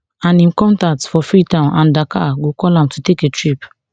and im contacts for freetown and dakar go call am to take a trip